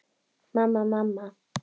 Mamma, mamma.